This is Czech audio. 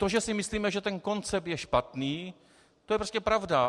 To, že si myslíme, že ten koncept je špatný, to je prostě pravda.